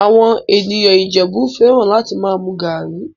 Àwọn ènìyàn Ìjẹ̀bú fẹ́ràn láti máa mu garri